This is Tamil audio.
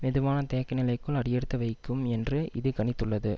மெதுவான தேக்க நிலைக்குள் அடியெடுத்து வைக்கும் என்று இது கணித்துள்ளது